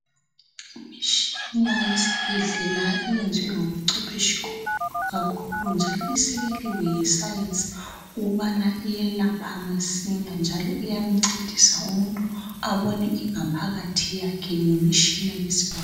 Imitshina yesibhendlela iyenzwe ngobuncwepheshi obukhulu kakhulu njalo isekeliwe Yi science ukubana iyelapha masinya njalo iyancedisa umuntu abone ingaphakathi yakhe ngemitshina ye scan.